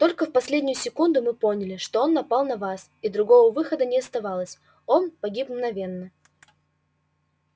только в последнюю секунду мы поняли что он напал на вас и другого выхода не оставалось он погиб мгновенно